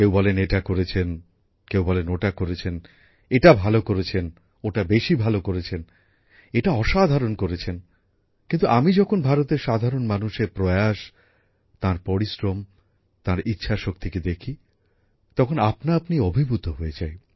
কেউ বলেন এটা করেছেন কেউ বলেন ওটা করেছেন এটা ভালো করেছেন এটা বেশি ভালো করেছেন এটা অসাধারণ করেছেন কিন্তু আমি যখন ভারতের সাধারণ মানুষের প্রয়াস তাঁর পরিশ্রম তাঁর ইচ্ছাশক্তিকে দেখি তখন নিজেই অভিভূত হয়ে যাই